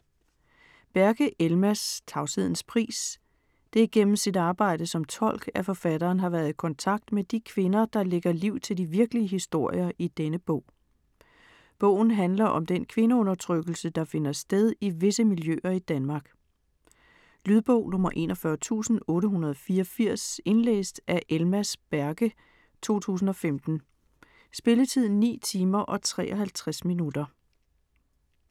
Berke, Elmas: Tavshedens pris Det er gennem sit arbejde som tolk, at forfatteren har været i kontakt med de kvinder, der lægger liv til de virkelige historier i denne bog. Bogen handler om den kvindeundertrykkelse, der finder sted i visse miljøer i Danmark. Lydbog 41884 Indlæst af Elmas Berke, 2015. Spilletid: 9 timer, 53 minutter.